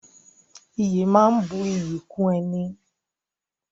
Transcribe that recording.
Ìyè máa ń bu iyì kún ẹni